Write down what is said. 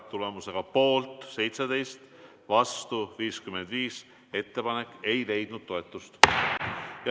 Tulemusega poolt 17 ja vastu 55 ei leidnud ettepanek toetust.